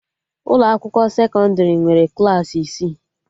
Ụlọ akwụkwọ sekọndrị nwere Klassị isi